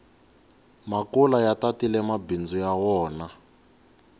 makula ya tatile mabindzu ya wona